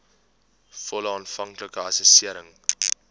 volle aanvanklike assessering